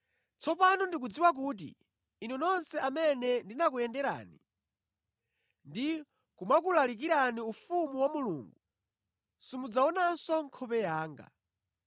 “Tsopano ndikudziwa kuti inu nonse amene ndinakuyenderani ndi kumakulalikirani ufumu wa Mulungu simudzaonanso nkhope yanga.